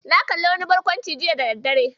Na kalli wani barkwanci jiya da daddare.